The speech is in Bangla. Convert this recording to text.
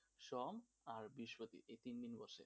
সোম আর বৃহস্পতি এই তিন দিন বসে,